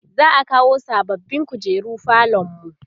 za'a kawo sababbin kujeru falonmu